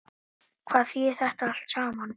Hvað þýðir þetta allt saman